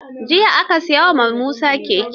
Jiya an sai wa Musa keke.